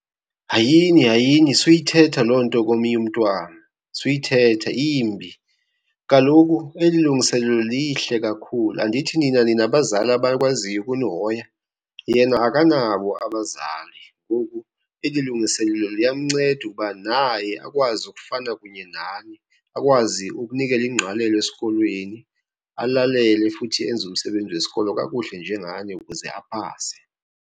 Hayini, hayini suyithetha loo nto komnye umntwana. Suyithetha imbi, kaloku eli lungiselelo lihle kakhulu. Andithi nina ninabazali abakwaziyo ukunihoya? Yena akanabo abazali, ngoku eli lungiselelo liyamnceda ukuba naye akwazi ukufana kunye nani. Akwazi ukunikela ingqalelo esikolweni, alalele sele futhi enze umsebenzi wesikolo kakuhle njengani ukuze aphase.